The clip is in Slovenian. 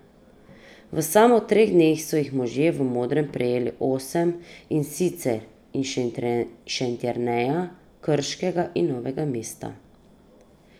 V samo treh dneh so jih možje v modrem prejeli osem, in sicer iz Šentjerneja, Krškega in Novega mesta.